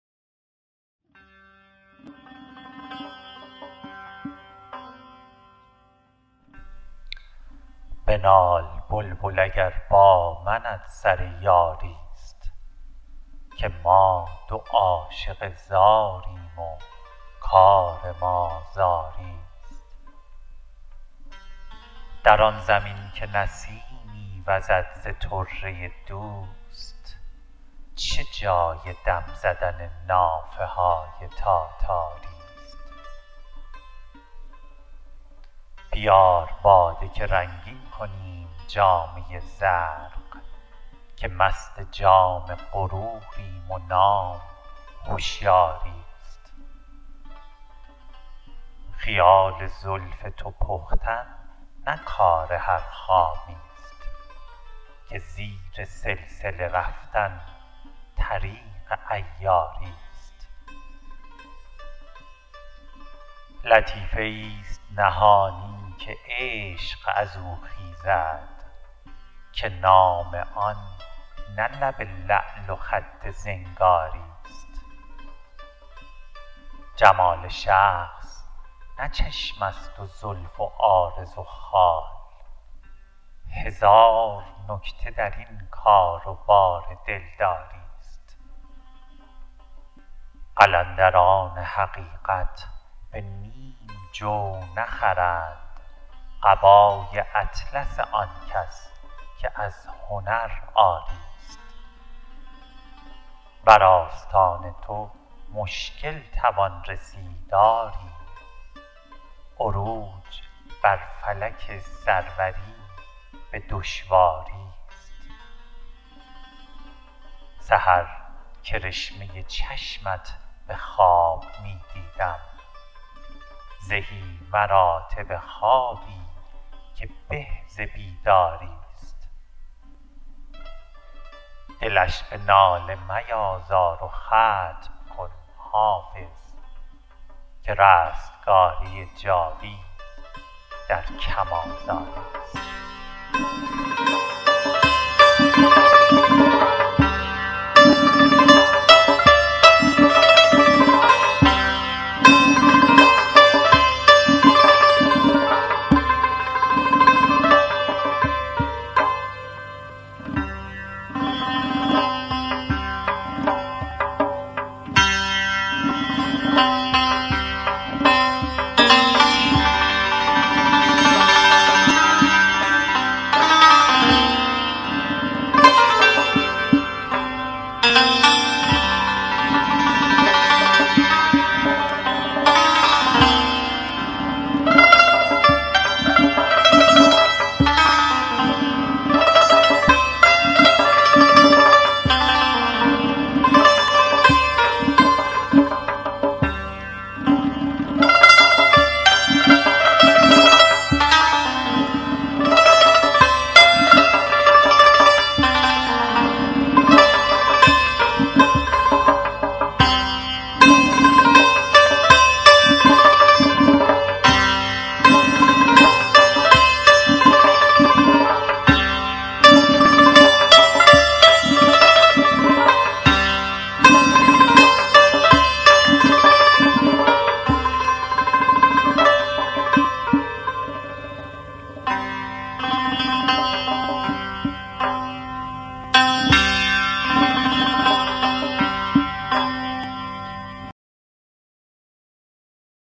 بنال بلبل اگر با منت سر یاری ست که ما دو عاشق زاریم و کار ما زاری ست در آن زمین که نسیمی وزد ز طره دوست چه جای دم زدن نافه های تاتاری ست بیار باده که رنگین کنیم جامه زرق که مست جام غروریم و نام هشیاری ست خیال زلف تو پختن نه کار هر خامی ست که زیر سلسله رفتن طریق عیاری ست لطیفه ای ست نهانی که عشق از او خیزد که نام آن نه لب لعل و خط زنگاری ست جمال شخص نه چشم است و زلف و عارض و خال هزار نکته در این کار و بار دلداری ست قلندران حقیقت به نیم جو نخرند قبای اطلس آن کس که از هنر عاری ست بر آستان تو مشکل توان رسید آری عروج بر فلک سروری به دشواری ست سحر کرشمه چشمت به خواب می دیدم زهی مراتب خوابی که به ز بیداری ست دلش به ناله میازار و ختم کن حافظ که رستگاری جاوید در کم آزاری ست